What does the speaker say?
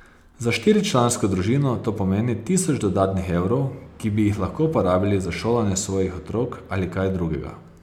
Za štiričlansko družino to pomeni tisoč dodatnih evrov, ki bi jih lahko porabili za šolanje svojih otrok ali kaj drugega.